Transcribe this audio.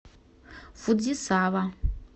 фудзисава